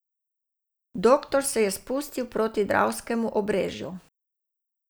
Doktor se je spustil proti dravskemu obrežju.